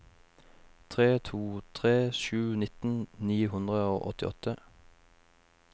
tre to tre sju nitten ni hundre og åttiåtte